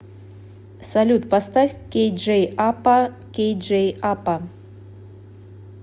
салют поставь кейджей апа кей джей апа